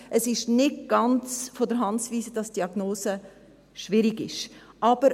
Es ist nicht ganz von der Hand zu weisen, dass die Diagnose schwierig ist.